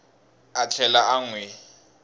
a tlhela a n wi